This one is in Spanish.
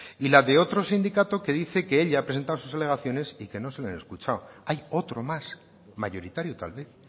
y la de otro sindicato que dice que él ya ha presentado sus alegaciones y que no se le han escuchado hay otro más mayoritario tal vez